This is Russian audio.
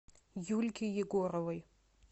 юльке егоровой